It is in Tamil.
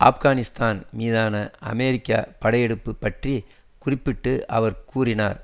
ஆப்கானிஸ்தான் மீதான அமெரிக்க படையெடுப்புக்கள் பற்றி குறிப்பிட்டு அவர் கூறினார்